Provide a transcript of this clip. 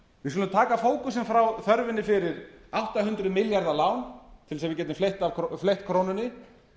við skulum taka fókusinn frá þörfinni fyrir átta hundruð milljarða lán til þess að við getum fleytt krónunni